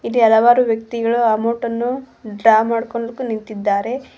ಇಲ್ಲಿ ಹಲವಾರು ವ್ಯಕ್ತಿಗಳು ಅಮೌಂಟ್ ಅನ್ನು ಡ್ರಾ ಮಾಡಿಕೊಂಡಾಕೂ ನಿಂತಿದ್ದಾರೆ.